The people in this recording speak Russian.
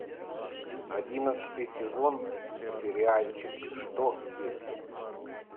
одиннадцатый сезон сериальчик что если